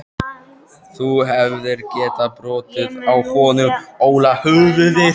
Þú hefðir getað brotið á honum Óla höfuðið.